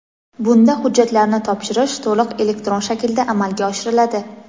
bunda hujjatlarni topshirish to‘liq elektron shaklda amalga oshiriladi.